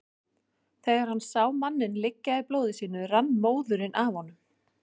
Þegar hann sá manninn liggja í blóði sínu rann móðurinn af honum.